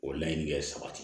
O laɲini bɛ sabati